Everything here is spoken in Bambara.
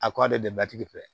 A kɔ de bɛ batigi fɛ